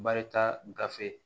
Barita gafe